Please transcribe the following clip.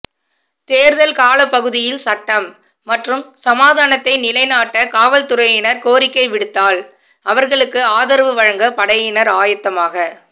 தேர்தல் காலப்பகுதியில் சட்டம் மற்றும் சமாதானத்தை நிலைநாட்ட காவல்துறையினர் கோரிக்கை விடுத்தால் அவர்களுக்கு ஆதரவு வழங்க படையினர் ஆயத்தமாக